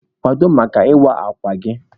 Kwado maka ịwa akwa gị!